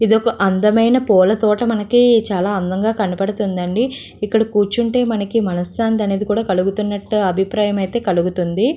ఇది ఒక అందమైన పూలతోట మనకీ చాలా అందంగా కనపడుతుంది అండి ఇక్కడ కూర్చుంటే మనకి మనశాంతి అనేది కలుగుతుంది అన్నట్టు అభిప్రాయం కలుగుతుంది.